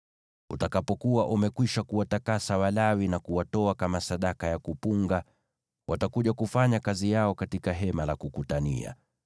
“Utakapokuwa umekwisha kuwatakasa Walawi na kuwatoa kama sadaka ya kuinuliwa, watakuja kufanya kazi yao katika Hema la Kukutania.